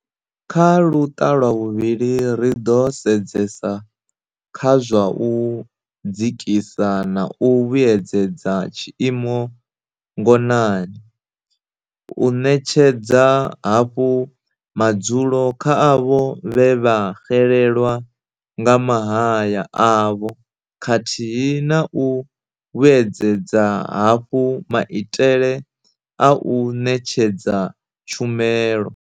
''Kha luṱa lwa vhuvhili, ri ḓo sedzesa kha zwa u dzikisa na u vhuedzedza tshiimo ngonani, u ṋetshedza hafhu madzulo kha avho vhe vha xelelwa nga mahaya avho khathihi na u vhuedzedza hafhu maitele a u ṋetshedza tshumelo.